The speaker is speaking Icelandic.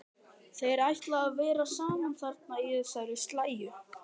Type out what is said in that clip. Þeir ætla að vera saman þarna í þessari slægju.